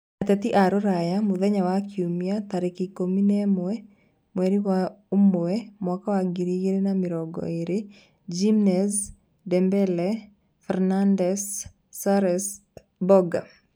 Ateti a rũraya mũthenya wa Kiumia 11.01.2020: Jimenez, Dembele, Fernandes, Soares, Boga